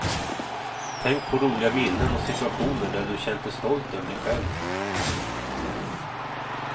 Tänk på roliga minnen och situationer där du känt dig stolt över dig själv.